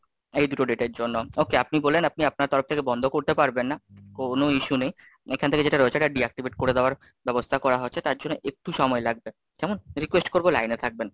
এই দুটো date এর জন্য, Okay, আপনি বললেন আপনি আপনার তরফ থেকে বন্ধ করতে পারবেন না, কোন issue নেই, এখান থেকে যেটা রয়েছে এটা Deactivate করে দেওয়ার ব্যবস্থা করা হচ্ছে, তার জন্য একটু সময় লাগবে, কেমন? request করবো লাইনে থাকবেন।